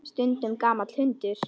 Stundum gamall hundur.